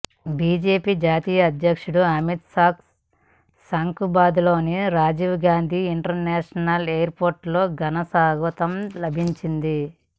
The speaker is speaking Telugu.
బీజేపీ జాతీయ అధ్యక్షుడు అమిత్ షాకు శంషాబాద్లోని రాజీవ్ గాంధీ ఇంటర్నేషనల్ ఎయిర్పోర్టులో ఘన స్వాగతం లభించింది